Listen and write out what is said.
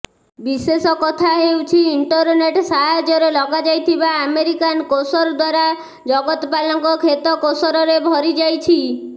ବିଶେଷ କଥା ହେଉଛି ଇଣ୍ଟରନେଟ ସାହାଯ୍ୟରେ ଲଗାଯାଇଥିବା ଆମେରିକାନ କେସର ଦ୍ବାରା ଜଗତପାଲଙ୍କ କ୍ଷେତ କେସରରେ ଭରି ଯାଇଛି